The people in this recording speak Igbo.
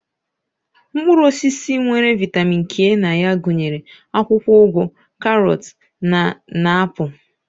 Mkpụrụ osisi nwere vitamin K na ya gụnyere akwụkwọ ụgụ, karọt na na apụl.